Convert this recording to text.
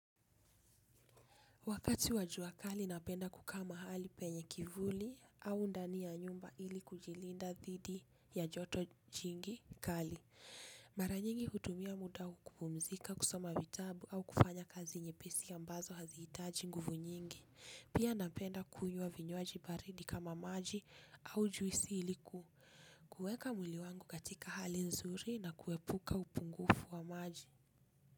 Wakati wa jua kali napenda kukaa mahali penye kivuli au ndani ya nyumba ili kujilinda dhidi ya joto jingi kali. Mara nyingi hutumia muda kupumzika kusoma vitabu au kufanya kazi nyepesi ambazo hazihitaji nguvu nyingi. Pia napenda kunywa vinywaji baridi kama maji au juisi iliku. Kuweka mwili wangu katika hali nzuri na kuepuka upungufu wa maji.